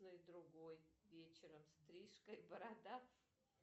другой вечером стрижка и борода